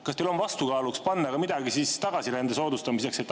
Kas teil on vastukaaluks midagi tagasirände soodustamiseks?